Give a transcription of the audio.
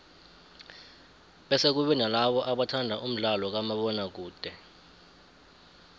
bese kube nalabo abathanda umdlalo kamabona kude